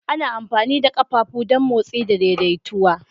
Ana amfani da ƙafafu don motsi da daidaituwa